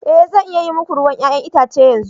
Ee zan iya yi muku ruwan 'ya'yan itace yanzu.